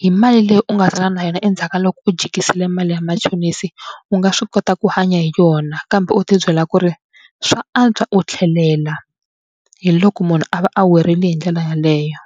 hi mali leyi u nga sala na yona endzhaku ka loko u jikisela mali ya machonisi u nga swi kota ku hanya hi yona kambe u tibyela ku ri swa antswa u tlhelela hi loko munhu a va a werile hi ndlela yaleyo.